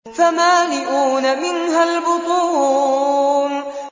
فَمَالِئُونَ مِنْهَا الْبُطُونَ